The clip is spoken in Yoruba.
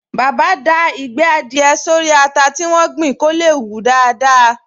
Bàbá da Ìgbẹ́ adìẹ sórí ata tí wọ́n gbìn kó lè hù daádáa